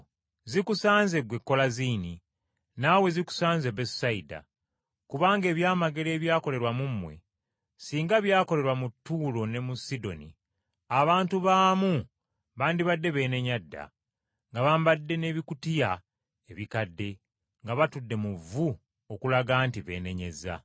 “Zikusanze, ggwe Kolaziini! Naawe zikusanze, Besusayida! Kubanga ebyamagero ekyakolerwa mu mmwe, singa byakolerwa mu Ttuulo ne mu Sidoni, abantu baamu bandibadde beenenya dda, nga bambadde n’ebibukutu nga batudde mu vvu okulaga nti beenenyezza.